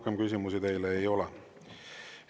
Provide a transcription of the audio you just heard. Rohkem küsimusi teile ei ole.